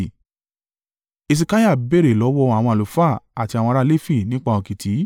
Hesekiah béèrè lọ́wọ́ àwọn àlùfáà àti àwọn ará Lefi nípa òkìtì;